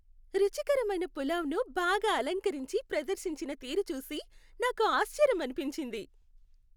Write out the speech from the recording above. రుచికరమైన పులావ్ను బాగా అలంకరించి ప్రదర్శించిన తీరు చూసి నాకు ఆశ్చర్యమనిపించింది.